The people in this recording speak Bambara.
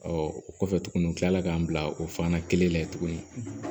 o kɔfɛ tuguni n kilala k'an bila o fana kelen na yen tuguni